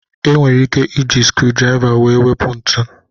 E nwere ike iji skriu draiva wee wepu ntu